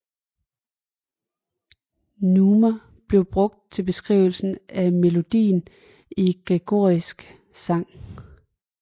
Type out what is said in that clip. Neumer blev brugt til beskrivelse af melodien i gregoriansk sang